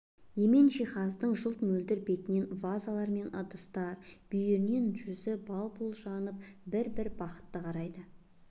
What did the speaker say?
емен жиһаздың жылт мөлдір бетінен вазалар мен ыдыстар бүйірінен жүзі бал-бұл жанып бір-бір бақытты қарайды